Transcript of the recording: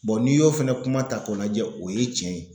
n'i y'o fana kuma ta k'o lajɛ o ye cɛn ye.